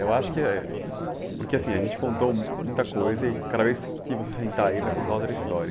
Eu acho que... Porque assim, a gente contou muita coisa e cada vez que você sentar aí vai contar outra história.